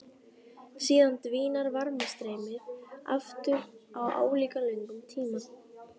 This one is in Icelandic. Síðan dvínar varmastreymið aftur á álíka löngum tíma.